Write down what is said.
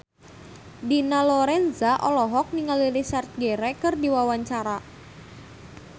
Dina Lorenza olohok ningali Richard Gere keur diwawancara